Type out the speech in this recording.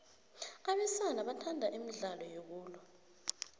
abesana bathanda imidlalo yokulwa